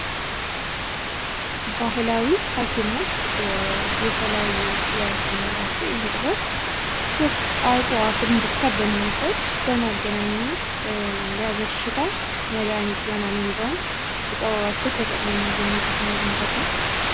ባህላዊ ሀኪሞች የተለያየ ጥበብ ሲኖራቸው ይህም ጥበብ ጀስት እጽዋቶችን ብቻ በመውሰድ በማገናኘት ለበሽታ መድሃኒት ይሆናል የሚለውን ጥበባቸውን ተጠቅሞ የሚያገኝበት መንገድ ነው ።